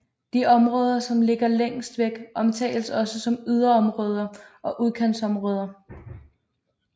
De områder som ligger længst væk omtales også som yderområder og udkantsområder